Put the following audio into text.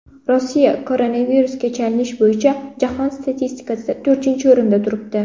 Rossiya koronavirusga chalinish bo‘yicha jahon statistikasida to‘rtinchi o‘rinda turibdi.